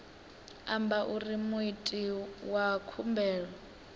amba uri muiti wa khumbelo